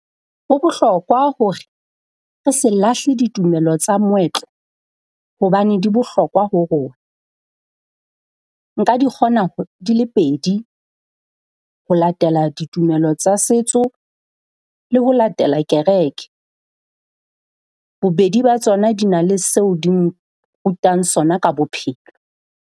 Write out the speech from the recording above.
Ho bohlokwa hore re se lahle ditumelo tsa moetlo hobane di bohlokwa ho rona. Nka di kgona di le pedi ho latela ditumelo tsa setso le ho latela kereke. Bobedi ba tsona di na le seo di nrutang sona ka bophelo.